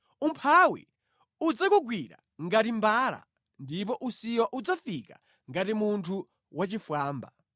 umphawi udzakugwira ngati mbala ndipo usiwa udzafika ngati munthu wachifwamba.